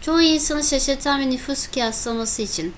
çoğu insanı şaşırtan bir nüfus kıyaslaması için